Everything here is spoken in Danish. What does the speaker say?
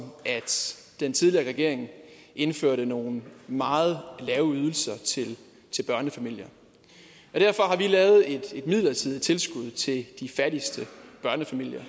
at den tidligere regering indførte nogle meget lave ydelser til børnefamilier derfor har vi lavet et midlertidigt tilskud til de fattigste børnefamilier